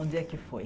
Onde é que foi?